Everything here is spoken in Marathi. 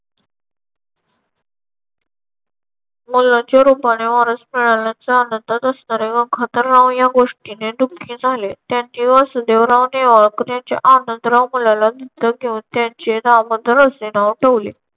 मुलाच्या रूपाने वारस मिळाल्याचा आनंदात असणाऱ्या गंगाधरराव या गोष्टीने दुःखी झाले. त्यांनी वस वासुदेवराव नेवाळकर यांच्या आनंदराव मुलाला दत्तक घेऊन त्यांचे दामोदर असे नाव ठेवले.